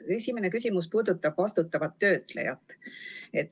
Esimene küsimus puudutab vastutavat töötlejat.